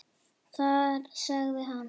Þar sagði hann